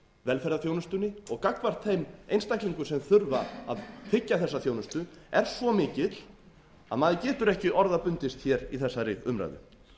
velferðarþjónustunni og gagnvart þeim einstaklingum sem þurfa að þiggja þessa þjónustu er svo mikill að maður getur ekki orða bundist hér í þessari umræðu